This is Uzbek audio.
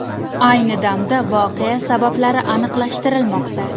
Ayni damda voqea sabablari aniqlashtirilmoqda.